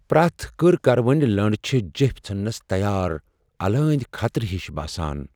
پریٚتھ كٕركروٕنۍ لٕنڈ چھِ جیپھۍ ژھننس تیار الٲندۍ خطرٕ ہِش باسان ۔